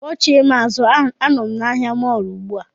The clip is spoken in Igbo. Kpọchie m azụ, anọ m na ahịa mọọlụ ugbu a